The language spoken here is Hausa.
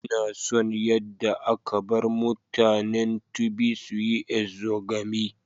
Ina son yadda aka bar mutanen Tiv su yi exogamy.